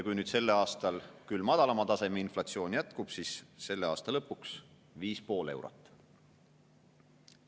Kui nüüd sellel aastal inflatsioon on küll madalamal tasemel, aga jätkub, siis selle aasta lõpuks on see hind viis ja pool eurot.